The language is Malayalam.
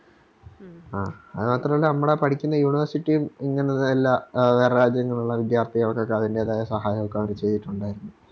ആ അതുമാത്രോള്ളു നമ്മള് പഠിക്കുന്ന University ഉം ഇങ്ങനെ നല്ല ആ വേറെ രാജ്യങ്ങളുള്ള വിദ്യാർത്ഥികൾക്കൊക്കെ അതിൻറെതായ സഹായങ്ങളൊക്കെ അവര് ചെയ്‌തിറ്റുണ്ടാരുന്നു